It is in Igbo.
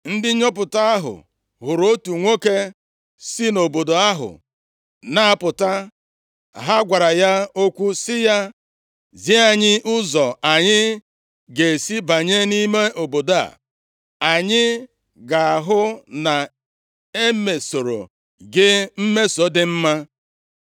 ndị nnyopụta ahụ hụrụ otu nwoke sị nʼobodo ahụ na-apụta. Ha gwara ya okwu sị ya, “Zi anyị ụzọ anyị ga-esi banye nʼime obodo a, anyị ga-ahụ na e mesoro gị mmeso dị mma.”